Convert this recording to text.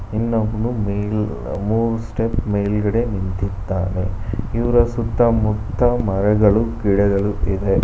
ಇನ್ನೊಬ್ನು ಮೇಲ್ ಮೂರ್ ಸ್ಟೆಪ್ ಮೇಲ್ಗಡೆ ನಿಂತಿದ್ದಾನೆ ಇವರ ಸುತ್ತಮುತ್ತ ಮರಗಳು ಗಿಡಗಳು ಇವೆ.